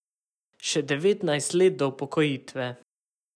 Še devetnajst let do upokojitve.